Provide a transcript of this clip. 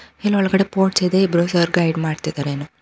ಇಲ್ ಒಳಗಡೆ ಬೋರ್ಡ್ಸ್ ಇದೆ ಇಬ್ರು ಸರ್ ಗೈಡ್ ಮಾಡ್ತಿದ್ದರೇನೊ.